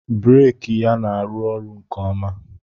breeki ya na-arụ ọrụ nke ọma